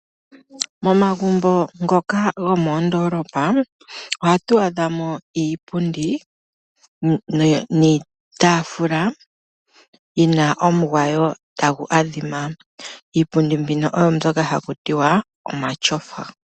Momagumbo ngoka gomoondolopa ohatu adhamo iipundi niitaafula, yina omugwayo tagu adhima, iipundi mbino oyo mbyoka haku tiwa, omatyofa.